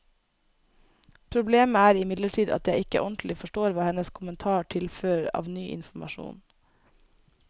Problemet er imidlertid at jeg ikke ordentlig forstår hva hennes kommentar tilfører av ny informasjon.